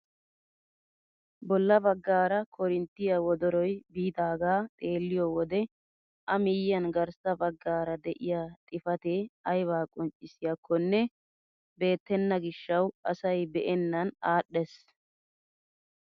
Bolla baggaara korinttiyaa wodoroy biidagaa xeelliyoo wode a miyiyaan garssa baggaara de'iyaa xifatee aybaa qonccisiyaakonne beettenna gishshawu asay be'ennan adhdhees!